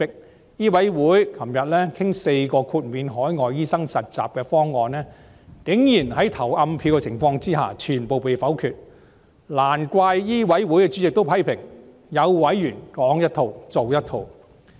香港醫務委員會昨天討論4項豁免海外醫生實習的方案，竟然在投暗票的情況下全部被否決，難怪醫委會主席批評有委員"說一套，做一套"。